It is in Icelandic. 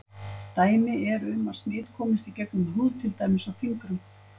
Dæmi eru um að smit komist í gegnum húð til dæmis á fingrum.